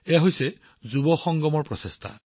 এয়া যুৱ সংগমৰ প্ৰয়াস